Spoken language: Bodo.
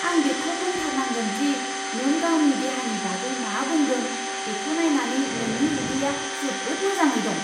आं बेखौ बुंथारनांगोन दि नों गावनि देहानि बागै मा बुंदों बेखौ नायनानै नोंनि उदैया जोबोद मोजाङै दं!